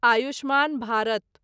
Ayushman Bharat